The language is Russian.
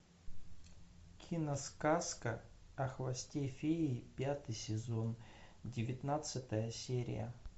киносказка о хвосте феи пятый сезон девятнадцатая серия